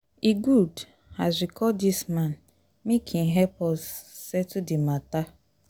e good as we call dis man make im help us settle di mata.